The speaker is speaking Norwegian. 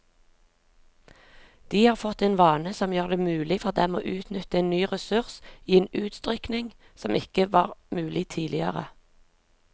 De har fått en vane som gjør det mulig for dem å utnytte en ny ressurs i en utstrekning som ikke var mulig tidligere.